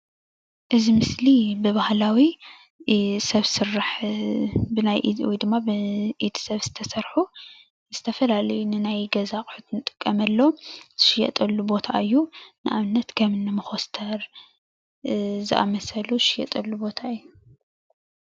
እዚ ምስሊ ብባህላዊ ሰብ ስራሕ ወይ ድማ ብናይ ኢድ ሰብ ዝሰርሖ ዝተፈላለዩ ንናይ ገዛ ኣቁሕት እንጥቀመሎም ዝሽየጠሉ ቦታ እዩ፡፡ ንኣብነት ከም እኒ መኮስተር ዝኣምሰሉ ዝሸየጠሉ ቦታ እዩ፡፡